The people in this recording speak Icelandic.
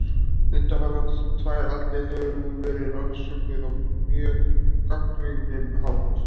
Undanfarnar tvær aldir hefur hún verið rannsökuð á mjög gagnrýninn hátt.